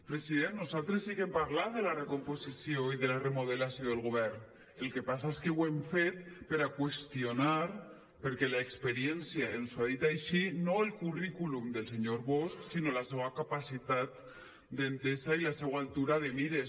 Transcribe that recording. president nosaltres sí que hem parlat de la recomposició i de la remodelació del govern el que passa és que ho hem fet per a qüestionar per·què l’experiència ens ho ha dit així no el currículum del senyor bosch sinó la seua capacitat d’entesa i la seua altura de mires